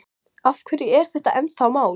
Af hverju er þetta ennþá mál?